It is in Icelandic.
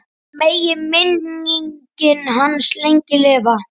Megi minning hans lengi lifa.